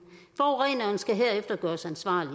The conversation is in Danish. forureneren skal herefter gøres ansvarlig